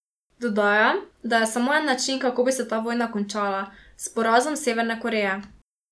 Dodaja, da je samo en način, kako bi se ta vojna končala: "S porazom Severne Koreje.